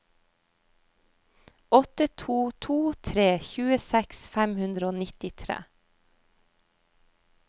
åtte to to tre tjueseks fem hundre og nittitre